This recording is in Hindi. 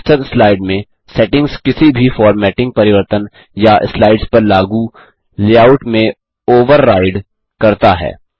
मास्टर स्लाइड में सेटिंग्स किसी भी फोर्मेटिंग परिवर्तन या स्लाइड्स पर लागू लेआउट में ओवरराइड करता है